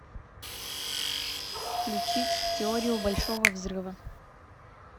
включить теорию большого взрыва